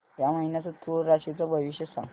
या महिन्याचं तूळ राशीचं भविष्य सांग